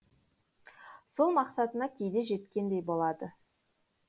сол мақсатына кейде жеткендей болады